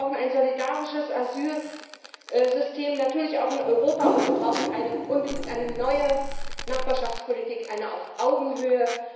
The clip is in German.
Wir brauchen ein solidarisches Asylsystem, natürlich auch in Europa, und wir brauchen unbedingt eine neue Nachbarschaftspolitik auf Augenhöhe.